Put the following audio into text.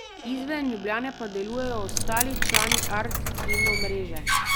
Izven Ljubljane pa delujejo ostali člani Art kino mreže.